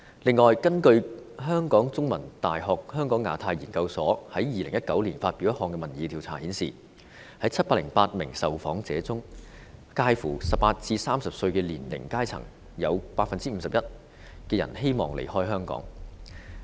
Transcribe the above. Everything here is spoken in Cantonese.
此外，根據香港中文大學香港亞太研究所在2019年發表的一項民意調查顯示，在708名受訪者中，介乎18歲至30歲的年齡層中有 51% 的人希望離開香港。